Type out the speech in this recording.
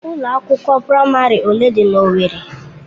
Ụlọ akwụkwọ praịmarị ole dị na owerri?